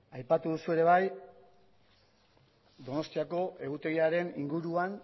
aipatu duzu ere bai donostiako egutegiaren inguruan